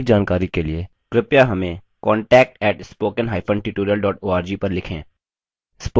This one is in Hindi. अधिक जानकारी के लिए कृपया contact @spoken hyphen tutorial dot org पर संपर्क करें